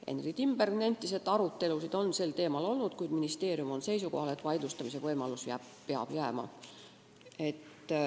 Henry Timberg nentis, et arutelusid on sel teemal olnud, kuid ministeerium on seisukohal, et vaidlustamise võimalus peab jääma.